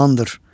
Amandır.